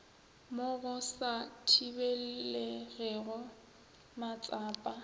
mo go sa thibelegego matsapa